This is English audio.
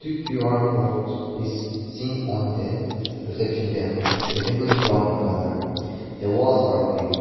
the Q_R codes is seen on the reception table the table is brown in colour the walls are greened.